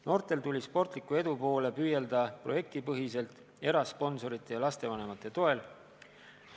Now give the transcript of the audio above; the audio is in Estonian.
Noortel tuli sportliku edu poole püüelda projektipõhiselt, erasponsorite ja lastevanemate toel.